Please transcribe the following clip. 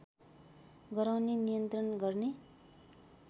गराउने नियन्त्रण गर्ने